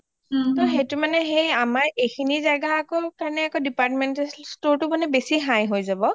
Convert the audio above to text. ত সেইটো মানে আমাৰ এইখিনি যাগাৰ কাৰণে departmental storeটো বেচি high হয় যাব